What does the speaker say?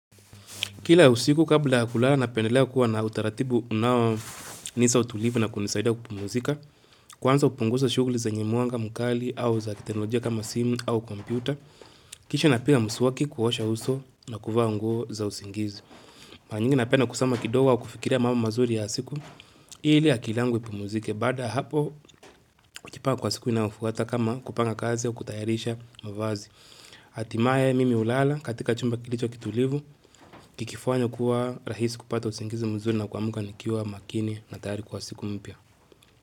Kila usiku kabla ya kulala napendelea kuwa na utaratibu unao nipa utulivu na kunisaida kupumzika Kwanza hupunguza shughuli zenye mwanga mkali au za kiteknolojia kama simu au kompyuta Kisha na pia mswaki kupsha uso na kuvaa nguo za usingizi Mara nyingi napenda kusoma kidogo au kufikiria mambo mazuri ya siku ili akili yangu ipumzike. Baada ya hapo kwa siku inayofuata kama kupanga kazi au kutayarisha mavazi hatimaye mimi hulala katika chumba kilicho kitulivu Kikifanywa kuwa rahisi kupata usingizi mzuri na kuamka nikiwa makini na tayari kwa siku mpya.